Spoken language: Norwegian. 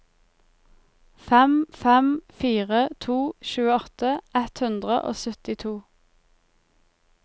fem fem fire to tjueåtte ett hundre og syttito